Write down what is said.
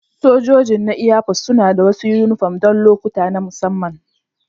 Sojojin na Airforce suna da wasu yunifom don lokuta na musamman